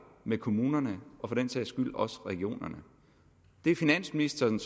med kommunerne og for den sags skyld også regionerne det er finansministeren